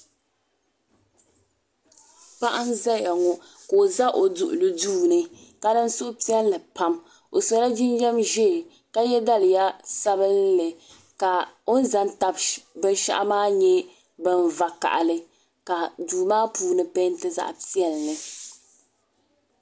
Paɣa n ʒɛya ŋo ka o ʒɛ o duɣuli duu ni ka niŋ suhupiɛlli pam o sola jinjɛm ʒiɛ ka yɛ daliya sabinli ka o ni ʒɛ n tabi binshaɣu maa nyɛ bin vakaɣali ka duu maa puuni peenti zaɣ piɛlli